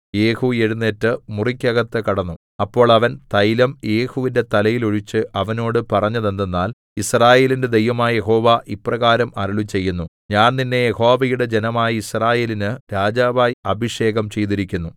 യേഹൂ എഴുന്നേറ്റ് മുറിക്കകത്ത് കടന്നു അപ്പോൾ അവൻ തൈലം യേഹുവിന്റെ തലയിൽ ഒഴിച്ച് അവനോട് പറഞ്ഞതെന്തെന്നാൽ യിസ്രായേലിന്റെ ദൈവമായ യഹോവ ഇപ്രകാരം അരുളിച്ചെയ്യുന്നു ഞാൻ നിന്നെ യഹോവയുടെ ജനമായ യിസ്രായേലിന് രാജാവായി അഭിഷേകം ചെയ്തിരിക്കുന്നു